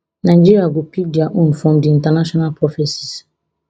nigeria go pick dia own from di international prophecies